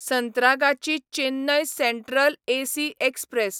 Santragachi Chennai central AC express